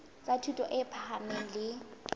tsa thuto e phahameng le